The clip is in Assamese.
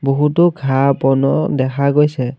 বহুতো ঘাঁহ বনো দেখা গৈছে।